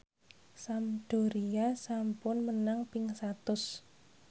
Sampdoria sampun menang ping satus